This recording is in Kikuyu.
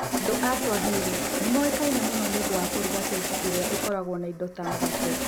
Andũ a Swahili nĩ moĩkaine mũno nĩ ũndũ wa kũruga keki iria ikoragwo na indo ta mũgate.